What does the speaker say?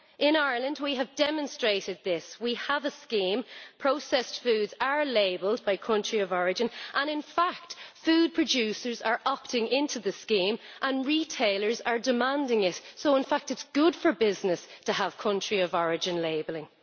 In Ireland we have demonstrated this we have a scheme, processed foods are labelled by country of origin, and in fact food producers are opting into the scheme and retailers are demanding it, so in fact it is good for business to have country of origin labelling.